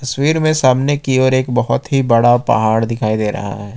तस्वीर में सामने की ओर एक बहुत ही बड़ा पहाड़ दिखाई दे रहा है।